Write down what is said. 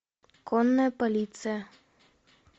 конная полиция